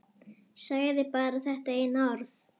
Sagði bara þetta eina orð.